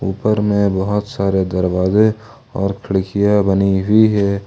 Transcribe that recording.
ऊपर में बहोत सारे दरवाजे और खिड़कियां बनी हुई है।